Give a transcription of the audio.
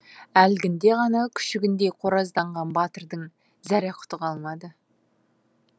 әлгінде ғана күшігіндей қоразданған батырдың зәре құты қалмады